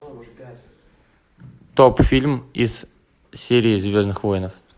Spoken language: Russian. топ фильм из серии звездных воинов